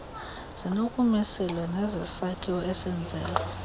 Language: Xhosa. zinokumiselwa nezesakhiwo esenzelwa